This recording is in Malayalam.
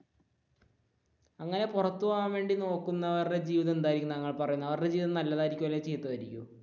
അങ്ങനെ പുറത്തു പോകാൻ വേണ്ടി നോക്കുന്നവരുടെ ജീവിതം എന്തായിരിക്കും താങ്കൾ പറയുന്നത് അവരുടെ ജീവിതം നല്ലതായിർക്കൊ അല്ലേൽ ചീത്തതായിരിക്കോ?